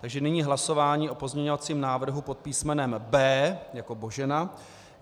Takže nyní hlasování o pozměňovacím návrhu pod písmenem B jako Božena.